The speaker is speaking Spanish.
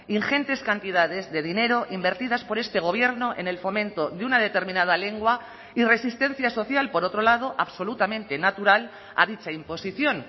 ingentes cantidades de dinero invertidas por este gobierno en el fomento de una determinada lengua y resistencia social por otro lado absolutamente natural a dicha imposición